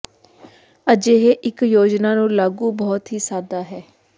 ਅਜਿਹੇ ਇੱਕ ਯੋਜਨਾ ਨੂੰ ਲਾਗੂ ਬਹੁਤ ਹੀ ਸਾਦਾ ਹੈ